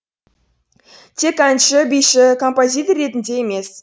тек әнші биші композитор ретінде емес